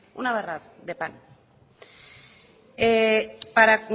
una barra de pan